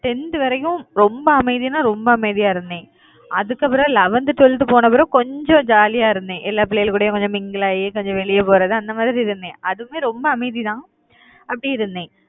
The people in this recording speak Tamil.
tenth வரைக்கும் ரொம்ப அமைதின்னா ரொம்ப அமைதியா இருந்தேன். அதுக்கப்புறம் eleventh, twelfth போன பிறகு கொஞ்சம் jolly யா இருந்தேன் எல்லா பிள்ளைகள் கூடயும் கொஞ்சம் mingle ஆகி கொஞ்சம் வெளிய போறது அந்த மாதிரி இருந்தேன் அதுவுமே ரொம்ப அமைதிதான் அப்படி இருந்தேன்